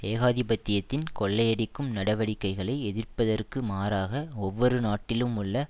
ஏகாதிபத்தியத்தின் கொள்ளையடிக்கும் நடவடிக்கைகளை எதிர்ப்பதற்கு மாறாக ஒவ்வொரு நாட்டிலும் உள்ள